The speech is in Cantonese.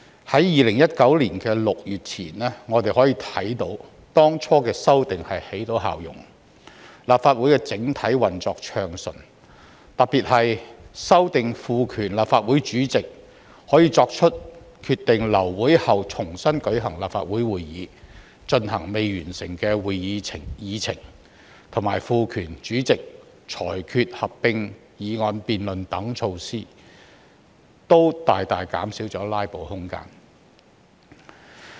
在2019年6月前，我們可以看到當初的修訂起到成效，立法會整體運作暢順；特別是有關修訂賦權立法會主席可以決定在流會後重新舉行立法會會議，以進行未完成的會議議程，以及賦權主席裁決合併議案辯論等措施，均大大減少了"拉布"的空間。